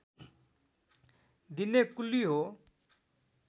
दिने कुल्ली हो